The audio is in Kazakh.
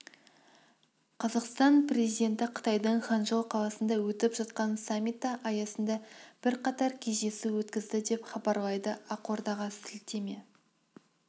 қазақстан президенті қытайдың ханчжоу қаласында өтіп жатқан саммиті аясында бірқатар кездесу өткізді деп хабарлайды ақордаға сілтеме